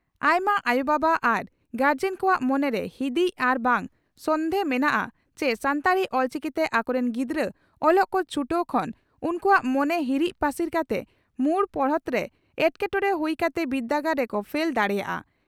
ᱟᱭᱢᱟ ᱟᱭᱚ ᱵᱟᱵᱟ ᱟᱨ ᱜᱟᱨᱡᱚᱱ ᱠᱚᱣᱟᱜ ᱢᱚᱱᱮᱨᱮ ᱦᱤᱸᱫᱤᱡ ᱟᱨ ᱵᱟᱝ ᱥᱚᱱᱫᱷᱮ ᱢᱮᱱᱟᱜᱼᱟ ᱪᱤ ᱥᱟᱱᱛᱟᱲᱤ (ᱚᱞᱪᱤᱠᱤ) ᱛᱮ ᱟᱠᱚᱨᱤᱱ ᱜᱤᱫᱽᱨᱟᱹ ᱚᱞᱚᱜ ᱠᱚ ᱪᱷᱴᱟᱹᱣ ᱠᱷᱚᱱ ᱩᱱᱠᱩᱣᱟᱜ ᱢᱚᱱᱮ ᱦᱤᱨᱤᱡᱽ ᱯᱟᱹᱥᱤᱨ ᱠᱟᱛᱮ ᱢᱩᱲ ᱯᱚᱲᱦᱚᱱᱨᱮ ᱮᱴᱠᱮᱴᱚᱬᱮ ᱦᱩᱭ ᱠᱟᱛᱮ ᱵᱤᱨᱫᱟᱹᱜᱟᱲ ᱨᱮᱠᱚ ᱯᱷᱮᱞ ᱫᱟᱲᱮᱭᱟᱜᱼᱟ ᱾